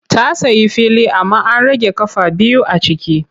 Ta sayi fili amma an rage ƙafa biyu a ciki.